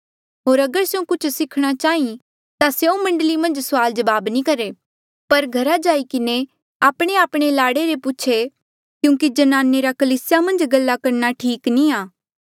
होर अगर स्यों कुछ सीखणा चाहीं ता स्यों मण्डली मन्झ सुआल जबाब नी करहे पर घरा जाई किन्हें आपणेआपणे लाड़े ले पूछे क्यूंकि ज्नाने रा कलीसिया मन्झ गल्ला करणा ठीक नी आ